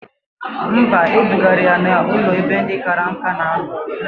Mba, edugara ya n'ụlọ ebe ndị kara nka na anọ